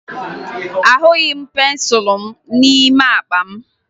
Ahụghị m pensụlụ m n'ime akpa m